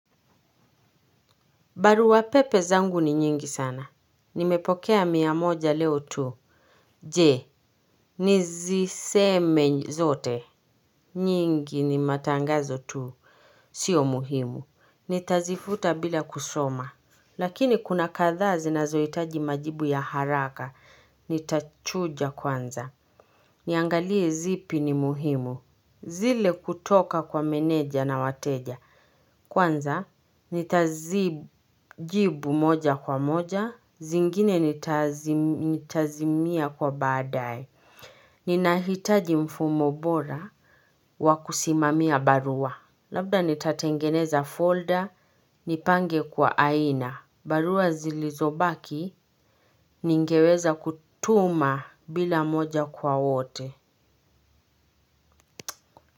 Baruwa pepe zangu ni nyingi sana. Nimepokea miyamoja leo tu. Je, niziseme zote. Nyingi ni matangazo tu. Sio muhimu. Nitazifuta bila kusoma. Lakini kuna kathaa zinazohitaji majibu ya haraka. Nitachuja kwanza. Niangalie zipi ni muhimu. Zile kutoka kwa meneja na wateja. Kwanza, nitazijibu moja kwa moja, zingine nitazimia kwa badae. Ninahitaji mfumo bora wakusimamia barua. Labda nitatengeneza folder, nipange kwa aina. Barua zilizobaki, ningeweza kutuma bila moja kwa wote.